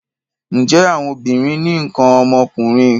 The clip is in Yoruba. Ǹjẹ́ àwọn obìnrin ní nǹkan ọmọkùnrin?